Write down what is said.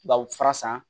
Baw fura san